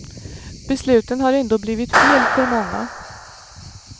Besluten har ändå blivit fel för många.